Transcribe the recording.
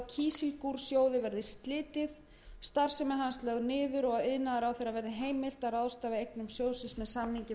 verði slitið starfsemi hans lögð niður og að iðnaðarráðherra verði heimilt að ráðstafa eignum sjóðsins með samningi við